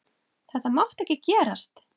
Þetta mátti ekki gerast!